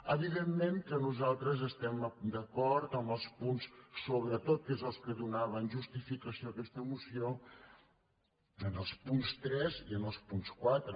evidentment que nosaltres estem d’acord amb els punts sobretot que donaven justificació a aquesta moció amb el punt tres i amb el punt quatre